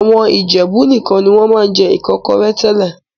Àwọn Ìjẹ̀bú nìkan ni wọ́n máa ń jẹ Ìkọ́kọrẹ́ tẹ́lẹ̀